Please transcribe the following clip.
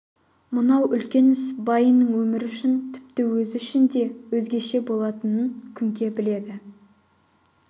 мынау үлкен іс байының өмірі үшін тіпті өзі үшін де өзгеше болатынын күнке біледі